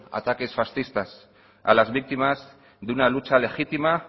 ataques fascistas a las víctimas de una lucha legítima